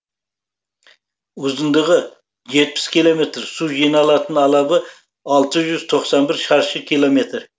ұзындығы жетпіс километр су жиналатын алабы алты жүз тоқсан бір шаршы километр